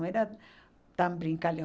Não era tão brincalhão.